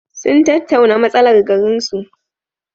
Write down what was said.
Sun tattauna matsalar garinsu.